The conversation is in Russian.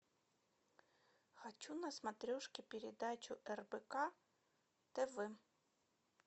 хочу на смотрешке передачу рбк тв